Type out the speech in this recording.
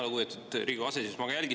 Lugupeetud Riigikogu aseesimees!